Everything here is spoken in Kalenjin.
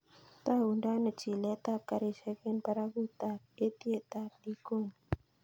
Togundon ano chilet ab garishek en barakutab etiet ab likoni